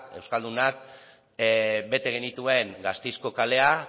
euskaldunak bete genituen gasteizko kalea